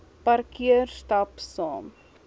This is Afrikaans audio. parkeer stap saam